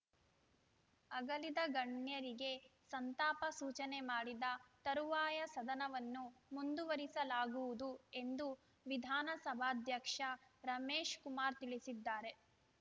ಅಗಲಿದ ಗಣ್ಯರಿಗೆ ಸಂತಾಪ ಸೂಚನೆ ಮಾಡಿದ ತರುವಾಯ ಸದನವನ್ನು ಮುಂದುವರಿಸಲಾಗುವುದು ಎಂದು ವಿಧಾನಸಭಾಧ್ಯಕ್ಷ ರಮೇಶ್‌ ಕುಮಾರ್‌ ತಿಳಿಸಿದ್ದಾರೆ